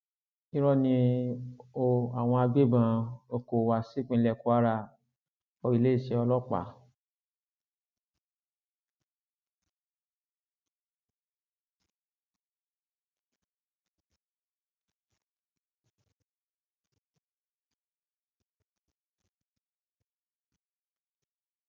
irọ ni o àwọn agbébọn o kó wá sípínlẹ kwara oiléeṣẹ ọlọpàá